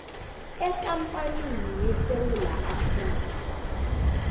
ekampanini yesewula afrika